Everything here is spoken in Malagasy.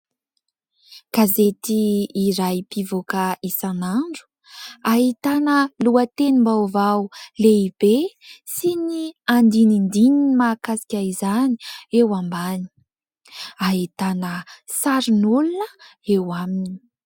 Gazety iray mpivoaka isan'andro : ahitana lohatenim-baovao lehibe sy ny andinindininy mahakasika izany eo ambany, ahitana sarin'olona eo aminy.